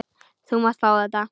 Þú mátt fá þetta.